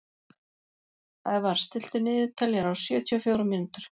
Ævarr, stilltu niðurteljara á sjötíu og fjórar mínútur.